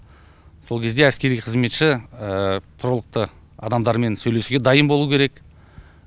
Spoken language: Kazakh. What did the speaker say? сол кезде әскери қызметші тұрғылықты адамдармен сөйлесуге дайын болуы керек